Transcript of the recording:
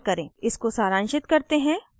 इसको सारांशित करते हैं: